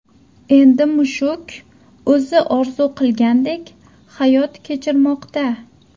Endi mushuk o‘zi orzu qilgandek hayot kechirmoqda.